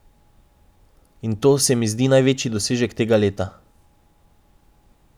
In to se mi zdi največji dosežek tega dela.